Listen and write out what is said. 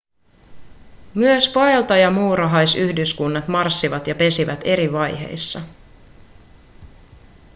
myös vaeltajamuurahaisyhdyskunnat marssivat ja pesivät eri vaiheissa